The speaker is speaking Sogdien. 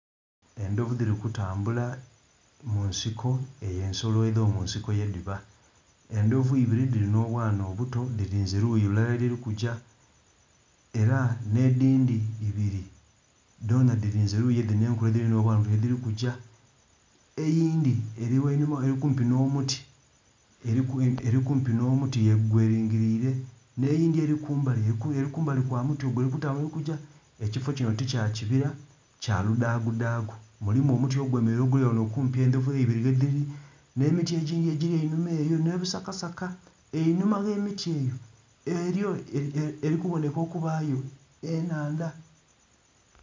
Endhovu dhiri kutambula mu nsiko eyo ensolo edhomunsiko yedhiba, endhovu ibiri dhiri nh'obwana obuto dhirinze luyi lulala yedhirikugya era nh'edhindhi ibiri dhonha dhirinze eluyi dhino enkulu edhiri nh'obwana yedhirikugya. Eyindhi eli ghanhuma eli kumpi nh'omuti gwelingilire nh'eyindhi eli kumbali, eli kumbali kwamuti ogwo eli kutambula eli kugya. Ekifo kino tikya kibira kyaludhaagudhaagu mulimu omuti ogwemeleire oguli ghano okumpi endhovu eibiri ghe dhili, nh'emiti egindhi egili enhuma eyo nh'ebisakasaka einhuma gh'emiti eyo eli kuboneka okubaayo ennhandha.